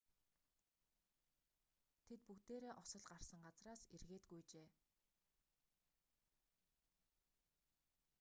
тэд бүгдээрээ осол гарсан газраас эргээд гүйжээ